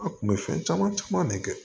A kun bɛ fɛn caman caman ne kɛ